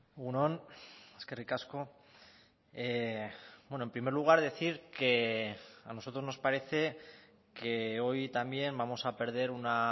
egun on eskerrik asko en primer lugar decir que a nosotros nos parece que hoy también vamos a perder una